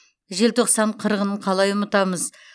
желтоқсан қырғынын қалай ұмытамыз